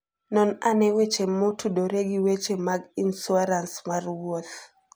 Non ane weche motudore gi weche mag insuarans mar wuoth.